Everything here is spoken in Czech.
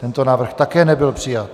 Tento návrh také nebyl přijat.